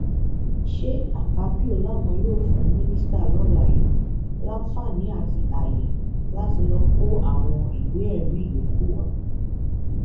sa akpabio làwọn yóò fún mínísítà lọla yìí láǹfààní àti ààyè láti lọọ kó àwọn ìwéẹrí yòókù wá